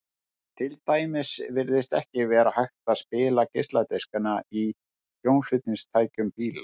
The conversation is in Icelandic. til dæmis virtist ekki vera hægt að spila geisladiskana í hljómflutningstækjum bíla